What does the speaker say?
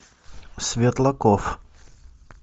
светлаков